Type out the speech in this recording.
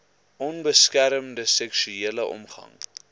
onbeskermde seksuele omgang